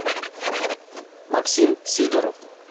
максим сидоров